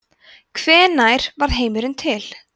hvenær varð heimurinn til